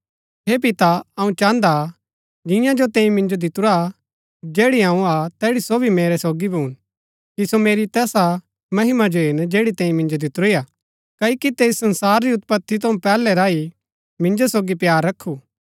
हे पिता अऊँ चाहन्दा हा जिंआ जो तैंई मिन्जो दितुरा जैड़ी अऊँ हा तैड़ी सो भी मेरै सोगी भून कि सो मेरी तैसा महिमा जो हेरन जैड़ी तैंई मिन्जो दितुरी हा क्ओकि तैंई संसार री उत्पति थऊँ पैहलै रा ही मिन्जो सोगी प्‍यार रखु